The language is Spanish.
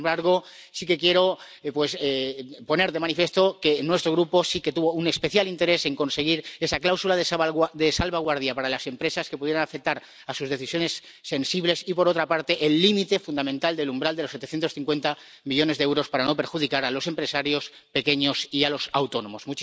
Sin embargo, sí que quiero, pues, poner de manifiesto que nuestro Grupo sí que tuvo un especial interés en conseguir esa cláusula de salvaguardia para las empresas que pudieran ver afectadas sus decisiones sensibles y, por otra parte, el límite fundamental del umbral de los 750 millones de euros para no perjudicar a los empresarios pequeños y a los autónomos.